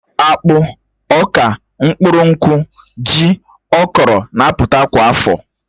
Akpụ, Ọ̀ka, mkpụrụ nkwụ, ji, okro na-apụta kwa afọ